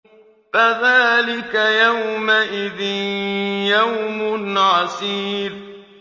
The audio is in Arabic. فَذَٰلِكَ يَوْمَئِذٍ يَوْمٌ عَسِيرٌ